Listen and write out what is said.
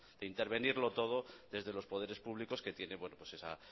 de intervenirlo todo desde los poderes públicos que tiene esa